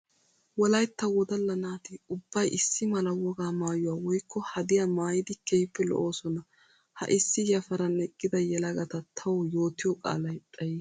Wolaytta wodalla naati ubbay issi mala wogaa maayuwa woykko haddiya maayiddi keehippe lo'ossona. Ha issi yafaran eqidda yelagatta tawu yootiyo qaalay xayiis